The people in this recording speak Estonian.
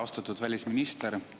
Austatud välisminister!